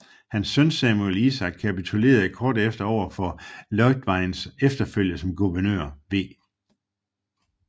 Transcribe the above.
Hans søn Samuel Isaac kapitulerede kort efter over for Leutweins efterfølger som guvernør v